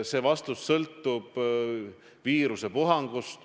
See vastus sõltub viirusepuhangust.